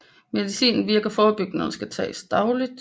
Medicinen virker forebyggende og skal tages dagligt